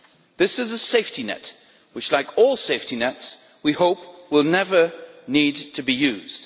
This is a safety net, which like all safety nets, we hope will never need to be used.